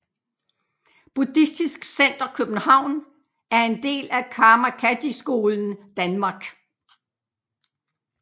Buddhistisk Center København er en del af Karma Kadjy Skolen Danmark